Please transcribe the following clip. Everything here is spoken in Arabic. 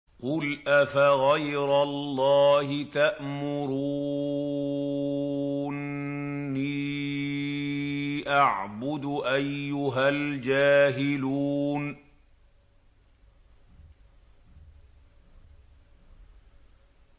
قُلْ أَفَغَيْرَ اللَّهِ تَأْمُرُونِّي أَعْبُدُ أَيُّهَا الْجَاهِلُونَ